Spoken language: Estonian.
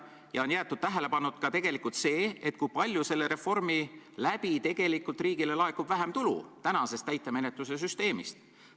Ja on jäetud tähelepanuta, kui palju selle reformi mõjul laekub riigile vähem tulu praegustest täitemenetluse süsteemidest.